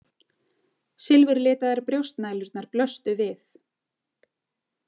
Silfurlitaðar brjóstnælurnar blöstu við.